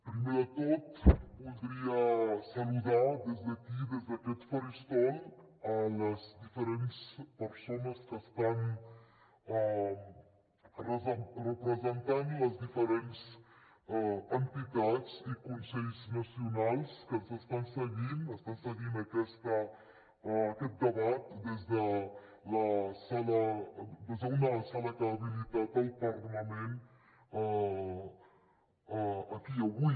primer de tot voldria saludar des d’aquí des d’aquest faristol les diferents persones que estan representant les diferents entitats i consells nacionals que ens estan seguint estan seguint aquest debat des d’una sala que ha habilitat el parlament aquí avui